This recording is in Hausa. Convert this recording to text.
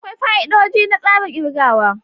Akwai fa'idodi na tsarin kirgawa.